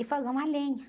E fogão a lenha.